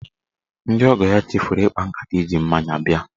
Ndị ọgọọ ya chefuru ịkpa nkata iji mmanya bịa.